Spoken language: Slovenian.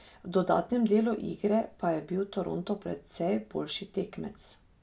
V dodatnem delu igre pa je bil Toronto precej boljši tekmec.